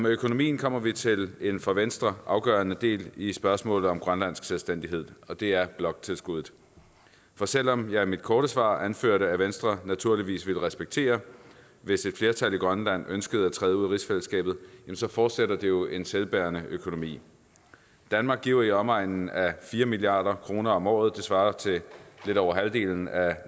økonomien kommer vi til en for venstre afgørende del i spørgsmålet om grønlandsk selvstændighed og det er bloktilskuddet for selv om jeg i mit korte svar anførte at venstre naturligvis ville respektere hvis et flertal i grønland ønskede at træde ud af rigsfællesskabet forudsætter det jo en selvbærende økonomi danmark giver i omegnen af fire milliard kroner om året det svarer til lidt over halvdelen af